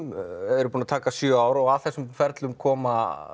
eru búin að taka sjö ár og að þessum ferlum koma